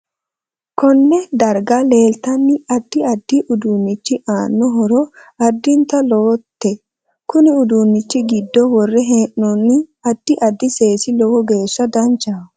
KOnee darga leeltano addi addi uduunichi aano horo adintanni lowote kuni uduunichi giddo worre heenooni addi addi seesi lowo geesha danchaho